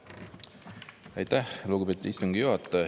Aitäh, lugupeetud istungi juhataja!